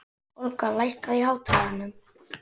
Olga, lækkaðu í hátalaranum.